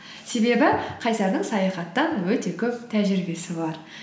себебі қайсардың саяхаттан өте көп тәжірибесі бар